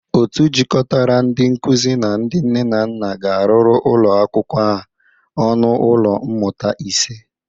Otu jịkọtara ndị nkụzị na ndị nne na nna ga-arụrụ ụlọ akwụkwọ a ọnụ ụlọ mmụta ise.